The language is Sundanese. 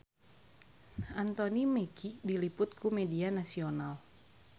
Anthony Mackie diliput ku media nasional